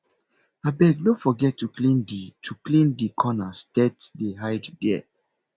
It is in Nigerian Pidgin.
abeg no forget to clean di to clean di corners dirt dey hide there